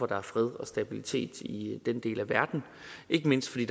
er fred og stabilitet i den del af verden ikke mindst fordi